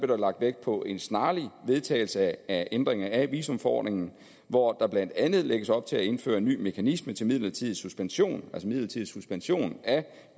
der lagt vægt på en snarlig vedtagelse af ændringer af visumforordningen hvor der blandt andet lægges op til at indføre en ny mekanisme til midlertidig suspension midlertidig suspension af